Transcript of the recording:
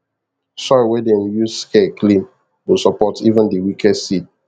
soil wey them use care clean go support even the weakest seed